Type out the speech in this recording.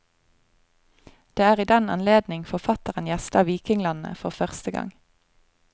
Det er i den anledning forfatteren gjester vikinglandet, for første gang.